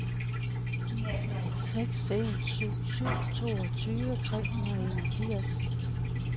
seks en syv syv toogtyve tre hundrede og enogfirs